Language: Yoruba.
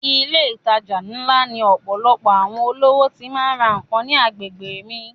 Ilé ìtajà ńlá ni ọ̀pọ̀lọpọ̀ àwọn olówó ti má ń ra nǹkan ní agbègbè mi